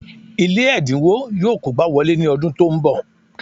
Ilé ẹ̀dínwó yọ kógbá wọlé ní ọdún tó ń bọ̀